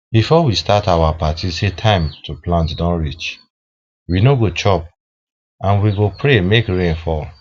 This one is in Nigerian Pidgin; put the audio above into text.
before we start our party say time to plant don reach we no go chop and we go pray make rain fall